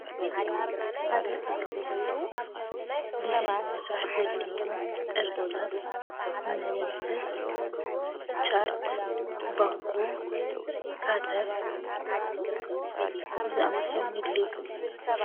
ሓደ ኣርክቴክ ዲዛይን ምስራሕ ዘድልይዎ እርሳስ፣ መደምሰስ፣ ቻርት፣ ባኮ፣ ካተር ዝኣምሰሉን የድልይዎ፡፡